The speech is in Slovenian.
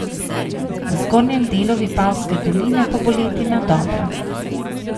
Na zgornjem delu Vipavske doline pa bo letina dobra.